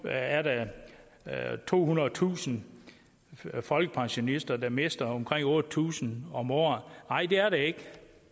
er der tohundredetusind folkepensionister der mister omkring otte tusind om året nej det er der ikke